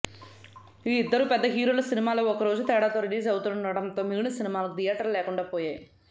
ఈ ఇద్దరూ పెద్ద హీరోల సినిమాలు ఒకరోజు తేడాతో రిలీజ్ అవుతుండటంతో మిగిలిన సినిమాలకు థియేటర్లు లేకుండా పోయాయి